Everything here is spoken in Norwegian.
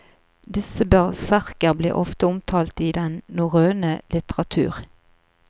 Disse berserker blir ofte omtalt i den norrøne litteratur.